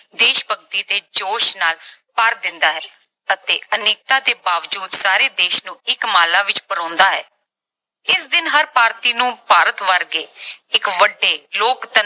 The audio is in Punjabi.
ਦੇਸ਼ ਭਗਤੀ ਦੇ ਜੋਸ਼ ਨਾਲ ਭਰ ਦਿੰਦਾ ਹੈ ਅਤੇ ਅਨੇਕਤਾ ਦੇ ਬਾਵਜੂਦ ਸਾਰੇ ਦੇਸ਼ ਨੂੰ ਇੱਕ ਮਾਲਾ ਵਿਚ ਪਰੋਂਦਾ ਹੈ। ਇਸ ਦਿਨ ਹਰ ਭਾਰਤੀ ਨੂੰ ਭਾਰਤ ਵਰਗੇ ਇੱਕ ਵੱਡੇ ਲੋਕਤੰਤਰ